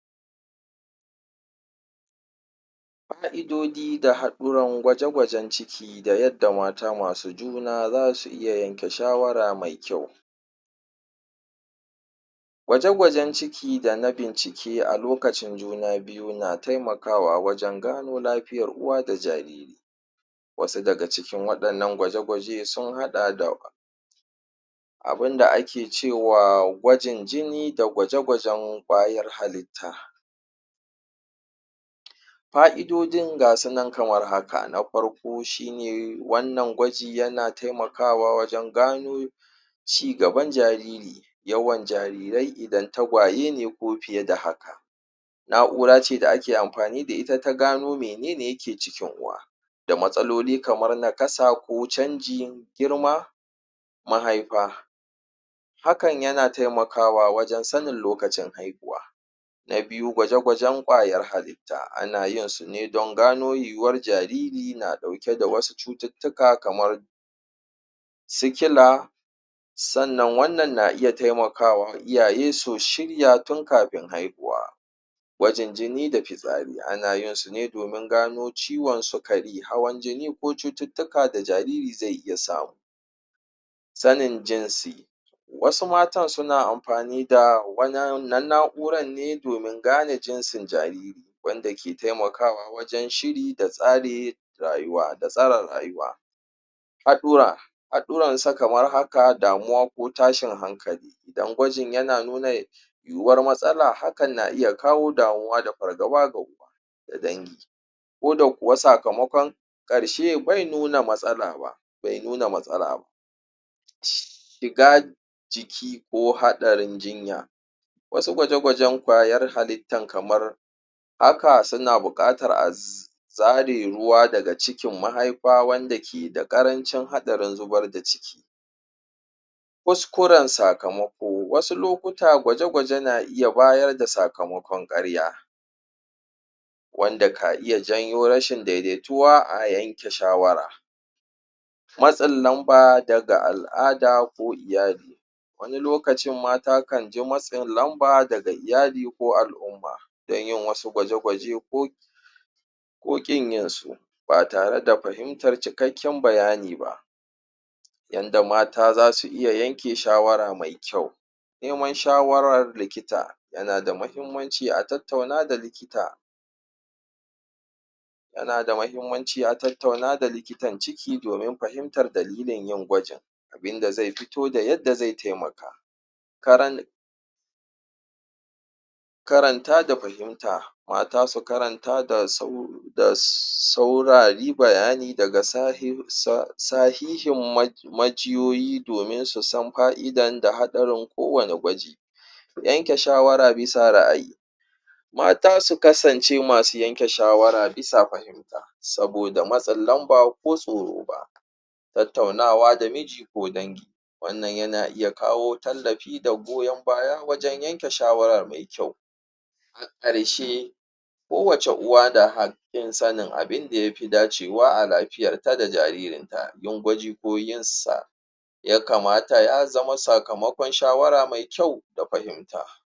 ka 'idoji da haɗuran gwaji gwajan ciki da yadda mata masu juna zasu iya yanke shawara mai kyau gwaje gwajan ciki dana bincike a lokacin juna biyu na taimakawa wajan gano lafiyar uwa da jariri wasu daga cikin waɗannan gwaje gwaje sun haɗa da abunda ake cewa gwajin jini da gwaje gwajan ƙwayar halitta fa'idojin gasunan kamar haka na farko shine wannan gwaji yana taimakawa wajan gano cigaban jariri yawan jarirai idan tagwaye ne ko fiye da hakan na'urace da ake amfani da ita ta gano menene yake cikin uwa da matsaloli kamar na kasa ko canji girma mahaifa hakan yana taimakawa wajan sanin lokacin haihuwa na biyu gwaje gwajan ƙwayoyin halitta ana yinsu ne dan gano yuwurar jariri yana ɗauke da da wasu cututtuka kamarsu sikila sannan wannna na iya taimakawa iyaye su shirya tun kafin haihuwa gwajin jini da fitsari anayinsu ne domin gano ciwan sukara hawan jini ko cututtuka da jariri zai iya samu sanan jinsi wasu matan suna amfani da wannan na'urar ne domin gane jinsin jariri wanda ke taimakawa wajan shiri da tsara rayuwa haɗura haɗuwansa kamar haka damuwa ko tashin hankali dan gwajin yana nuna yuwuwar matsala hakan na iya kawo damuwa da fargaba da dangi ko da kuwa sakamaƙon ƙarshe be nuna matsala ba shiga jiki ko haɗarin jinya wasu gwaje gwajan ƙwayar halittan kamar haka suna buƙatar a zare ruwa daga cikin mahaifa wanda ke da ƙarancin haɗarin zubar da ciki kuskuran sakamako wasu lokuta gwaje gwaje na iya bayar da sakamaƙwan ƙarya wanda ka iya janyo rashin daidaituwa a yanke shawara matsin lamba daga al'ada ko iyali wani lokacin mata kanji matsin lamba daga iyali ko al'umma dan yin wasu gwaje gwaje ko ƙinyinsu ba tare da fahimtar cikakƙin bayani ba yanda mata zasu iya yanke shawara me kyau neman shawarra likita yan da mahimmanci a tattauna da likita yana da mahimmanci a tattauna da likitan ciki domin fahimtar dakilin yin gwajin abinda zai fito da yadda zai taimaka karan karanta da fahimta mata su karanta da saurari bayani daga sahihin majiyoyi domin su san fa'idan da da haɗarin ko wanne gwaji yanke shawara bisa ra'ayi mata su kasance masu yanke shawara bisa fahimta saboda matsin lanba ko tsoro ba tattaunawa da miji ko danji wannan yana iya kawo tallafi da goyan baya wajan yanke shawara mai kyau a karshe ko wacce uwa da hakkin sanin abunda yafi dacewa a lafiyarta da jaririnta ya kamata ya zama sakamakon shawara me kyau da fahimta